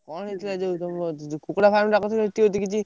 କଣ ହେଇଥିଲା ଯଉ ତମ କୁକୁଡ଼ା farm ଟା କରିଥିଲ।